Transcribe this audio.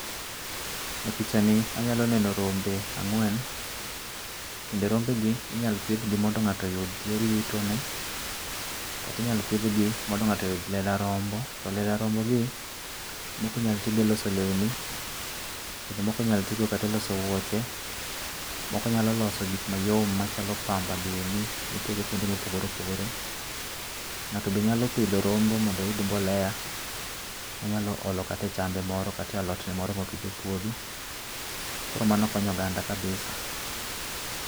E pichani anyalo neno rombe angwen ,kendo rombe gi inyalo pidh gi mondo ng'ato oyud yor yutone kata inyalo pidh gi mondo ng'ato oyud lela rombo to lela rombo gi moko inyalo ti go e loso lewni kendo moko inyalo ti go kata e loso wuoche, moko nyalo loso gik mayom machalo pamba gini mitiyo go kuonde mopogore opogore, ng'ato be nyalo pidho rombo mondo oyud mbolea monyalo olo e chambe kata alot ne moro mopidho e puodho koro mano konyo oganda kabisa